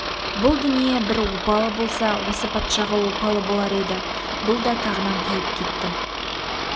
бұл дүние бір опалы болса осы патшаға опалы болар еді бұл да тағынан тайып кетті